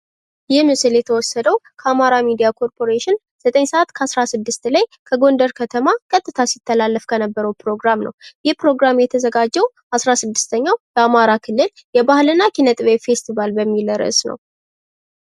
ይህ ምስል የተወሰደው ከአማራ ሚዲያ ኮርፖሬሽን ዘጠኝ ሰዓት ከአስራስድስት ላይ ከጎንደር ከተማ ቀጥታ ሲስተላለፍ የነበረውን ፕሮግራም ነው። ይህ ፕሮግራም የተዘጋጀው አስራስድስተኛውን የአማራ ክልል የባህልና ስነ ጥበብ ፌስቲቫል በሚል ርዕስ ነው።